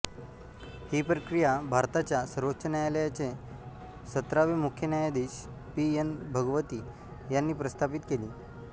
ही प्रक्रिया भारताच्या सर्वोच्च न्यायालयाचे सतरावे मुख्य न्यायाधीश पी एन भगवती यांनी प्रस्थापित केली